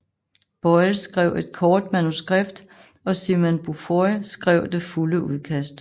Boyle skrev et kort manuskript og Simon Beaufoy skrev det fulde udkast